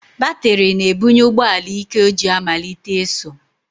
Batịrị na-ebunye ụgbọala íké o ji amalite ịsụ.